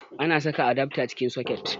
Ana saka adafta cikin soket